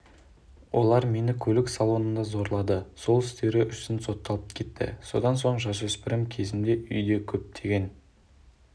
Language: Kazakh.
олар мені көлік салонында зорлады сол істері үшін сотталып кетті содан соң жасөспірім кезімде үйде көптеген